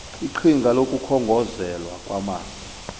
iqhinga lokukhongozelwa kwamanzi